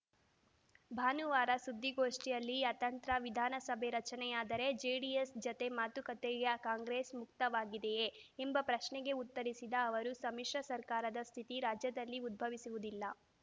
ಭಾನುವಾರ ಸುದ್ದಿಗೋಷ್ಠಿಯಲ್ಲಿ ಅತಂತ್ರ ವಿಧಾನಸಭೆ ರಚನೆಯಾದರೆ ಜೆಡಿಎಸ್‌ ಜತೆ ಮಾತುಕತೆಗೆ ಕಾಂಗ್ರೆಸ್‌ ಮುಕ್ತವಾಗಿದೆಯೇ ಎಂಬ ಪ್ರಶ್ನೆಗೆ ಉತ್ತರಿಸಿದ ಅವರು ಸಮಿಶ್ರ ಸರ್ಕಾರದ ಸ್ಥಿತಿ ರಾಜ್ಯದಲ್ಲಿ ಉದ್ಬವಿಸುವುದಿಲ್ಲ